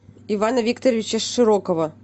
ивана викторовича широкова